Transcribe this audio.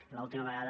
i l’última vegada